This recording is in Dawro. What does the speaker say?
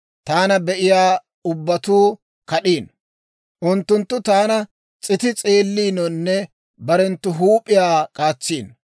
Taana be'iyaa ubbatuu k'id'iino; unttunttu taana s'iti s'eelliinonne barenttu huup'iyaa k'aatsiino.